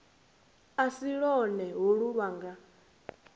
a si lwone holu lwanga